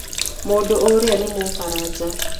Mũndũ ũrĩa nĩ Mũfaranja.